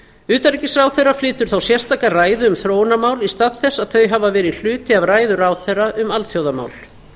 utanríkisráðherra flytur þá sérstaka ræðu um þróunarmál í stað þess að þau hafa verið hluti af ræðu ráðherra um alþjóðamál